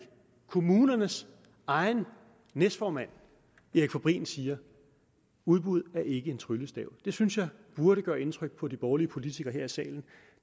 kommunernes egen næstformand erik fabrin siger udbud er ikke en tryllestav det synes jeg burde gøre indtryk på de borgerlige politikere her i salen